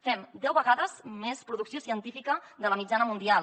fem deu vegades més producció científica que la mitjana mundial